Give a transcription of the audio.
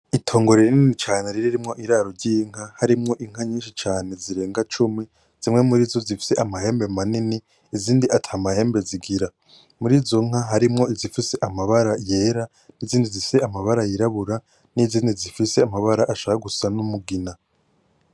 Itongo rinini cane ririmwo iraro ry’inka harimwo inka nyinshi zirenga cumi , zifise amahembe manini , izindi ata mahembe zigira . Murizo nka harimwo izifise amabara yera n’izindi zifise amabara yirabura n’izindi zifise amabara ashaka gusa n’umugina.